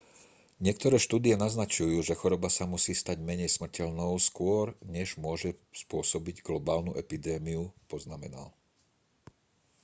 niektoré štúdie naznačujú že choroba sa musí stať menej smrteľnou skôr než môže spôsobiť globálnu epidémiu poznamenal